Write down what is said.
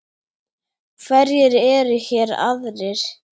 Hverjir eru hér aðrir?